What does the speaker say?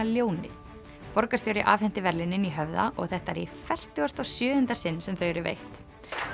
ljónið borgarstjóri afhenti verðlaunin í Höfða og þetta er í fertugasta og sjöunda sinn sem þau eru veitt